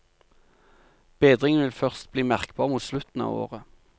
Bedringen vil først bli merkbar mot slutten av året.